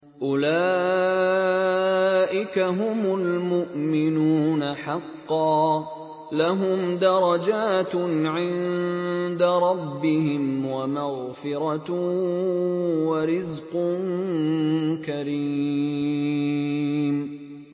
أُولَٰئِكَ هُمُ الْمُؤْمِنُونَ حَقًّا ۚ لَّهُمْ دَرَجَاتٌ عِندَ رَبِّهِمْ وَمَغْفِرَةٌ وَرِزْقٌ كَرِيمٌ